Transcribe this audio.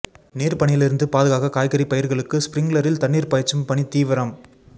நீர் பனியில் இருந்து பாதுகாக்க காய்கறி பயிர்களுக்கு ஸ்பிரிங்லரில் தண்ணீர் பாய்ச்சும் பணி தீவிரம்